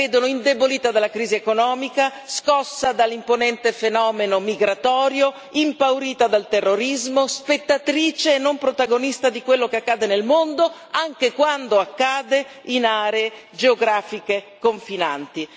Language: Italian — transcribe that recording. La vedono indebolita dalla crisi economica, scossa dall'imponente fenomeno migratorio, impaurita dal terrorismo, spettatrice e non protagonista di quello che accade nel mondo, anche quando accade in zone geografiche confinanti.